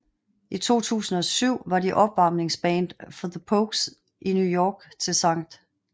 I 2007 var de opvarmningsband for The Pogues i New York til Skt